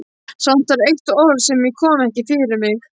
Samt var eitt orð sem ég kom ekki fyrir mig.